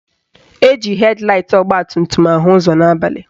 Eji hed laịt ọgbatumtum ahụ ụzọ n'abalị